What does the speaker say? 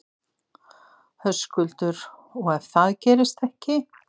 Höskuldur: Og ef það gerist ekki?